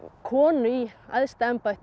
konu í æðsta embætti